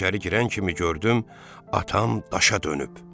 İçəri girən kimi gördüm atam daşa dönüb.